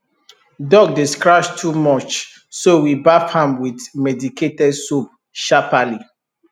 dog dey scratch too much so we baff am with medicated soap sharperly